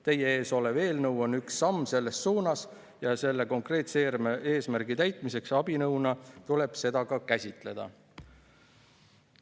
Teie ees olev eelnõu on üks samm selles suunas ja sellise konkreetse eesmärgi täitmise abinõuna tuleb seda ka käsitleda.